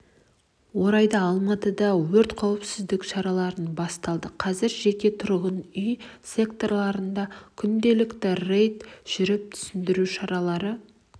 орайда алматыда өрт-қауіпсіздік шаралары басталды қазір жеке тұрғын үй секторларында күнделікті рейд жүріп түсіндіру шаралары